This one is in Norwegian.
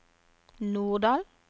Norddal